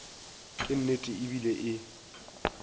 ke nnete e bile e